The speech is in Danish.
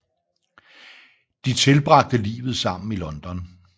De tilbragte livet sammen i London